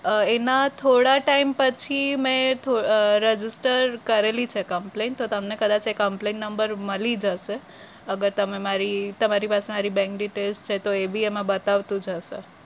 એના થોડા time પછી મે અમ register કરેલી છે complain તમને કદાચ એ complain number મળી જશે અગર તમે મારી તમારી પાસે મારી bank detail છે તો એબી એમાં બતાવતું જ હશે.